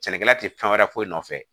Sɛnɛkɛla tɛ fɛn wɛrɛ foyi nɔfɛ